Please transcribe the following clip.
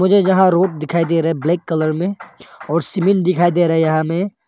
यहां रोड दिखाई दे रहा है ब्लैक कलर में और सीमेंट दिखाई दे रहा है यहां में।